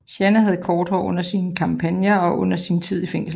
Jeanne havde kort hår under sine kampagner og under sin tid i fængsel